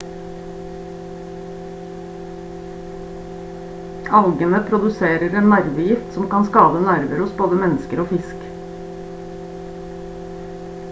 algene produserer en nervegift som kan skade nerver hos både mennesker og fisk